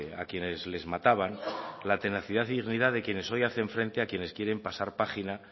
a quienes les mataban la tenacidad y dignidad de quienes hoy hacen frente a quienes quieren pasar página